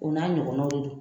O n'a ɲɔgɔnaw de don.